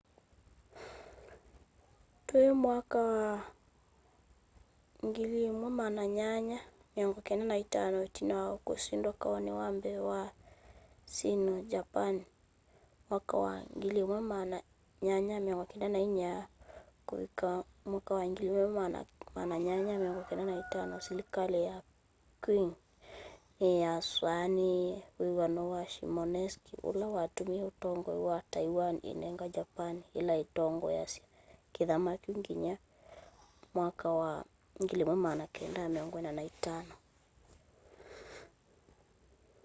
twi 1895 itina wa kusindwa kauni wa mbee wa sino-japani 1894-1895 silikali ya qing niyasainiie wiw'ano wa shimonoseki ula watumie utongoi wa taiwan inenga japani ila itongoesya kithama kyu nginya 1945